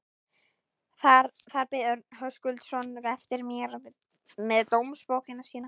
Þar beið Örn Höskuldsson eftir mér með dómsbókina sína.